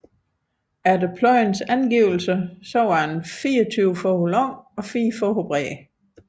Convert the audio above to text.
Efter Pløyens angivelser var den 24 fod lang og fire fod bred